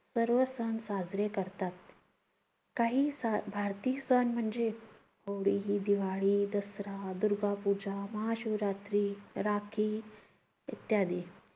सर्व सण साजरे करतात. काही भारतीय सण म्हणजे गुढी, दिवाळी, दसरा, दुर्गापूजा, महाशिवरात्री, राखी इत्यादी.